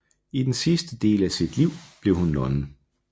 I den sidste del af sit liv blev hun nonne